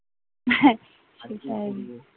হ্যাঁ সেটাই